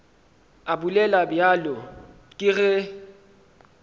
a bolela bjalo ke ge